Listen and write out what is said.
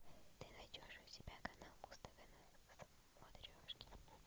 ты найдешь у себя канал муз тв на смотрешке